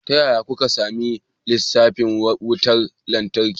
Ta yaya kuka sami lissafin wutar lantarki?